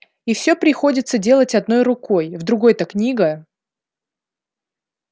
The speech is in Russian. и всё приходится делать одной рукой в другой-то книга